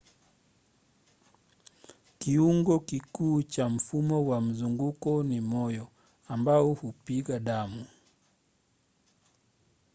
kiungo kikuu cha mfumo wa mzunguko ni moyo ambao hupiga damu